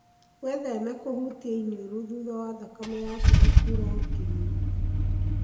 Wĩtheme kũhutia iniũrũ thutha wa thakame ya tiga kũra ũkĩnunuha.